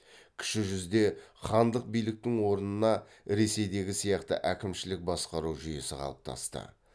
кіші жүзде хандық биліктің орнына ресейдегі сияқты әкімшілік басқару жүйесі қалыптасты